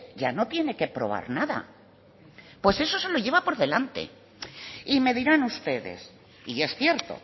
ya no tiene que probar nada pues eso se lo lleva por delante y me dirán ustedes y es cierto